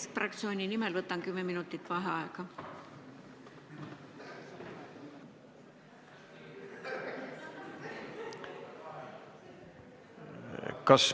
Keskfraktsiooni nimel võtan kümme minutit vaheaega.